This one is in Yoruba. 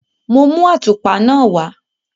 Mo mú àtùpa náà wá.